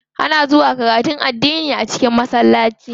Ana zuwa karatun addini a cikin masallaci.